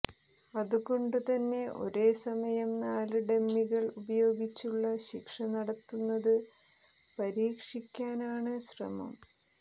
അതുകൊണ്ട് തന്നെ ഒരേസമയം നാല് ഡമ്മികൾ ഉപയോഗിച്ചുള്ള ശിക്ഷ നടത്തുന്നത് പരിക്ഷിയ്ക്കാനാണ് ശ്രമം